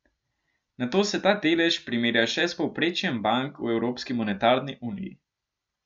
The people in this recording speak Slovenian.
Nato se ta delež primerja še s povprečjem bank v evropski monetarni uniji.